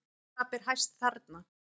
Hvað ber hæst þarna?